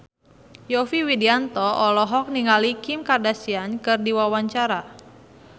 Yovie Widianto olohok ningali Kim Kardashian keur diwawancara